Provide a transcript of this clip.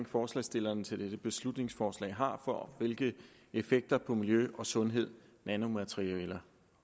forslagsstillerne til dette beslutningsforslag har for hvilke effekter på miljø og sundhed nanomaterialer